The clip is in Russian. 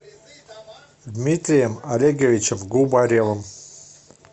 дмитрием олеговичем губаревым